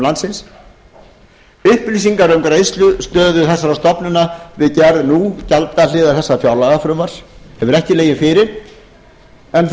landinu upplýsingar um greiðslustöðu þessara stofnana við gerð nú gjaldahliðar þessa fjárlagafrumvarps hefur ekki legið fyrir en